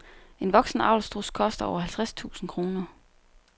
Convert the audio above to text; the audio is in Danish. En voksen avlsstruds koster over halvtreds tusind kroner.